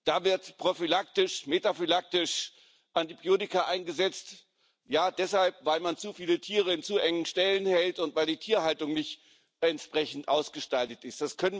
Da werden prophylaktisch, metaphylaktisch Antibiotika eingesetzt, weil man zu viele Tiere in zu engen Ställen hält und weil die Tierhaltung nicht entsprechend ausgestaltet ist.